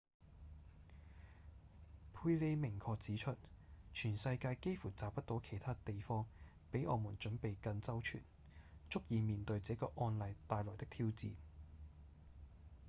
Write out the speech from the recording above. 佩里明確指出：「全世界幾乎找不到其他地方比我們準備更周全足以面對這個案例帶來的挑戰」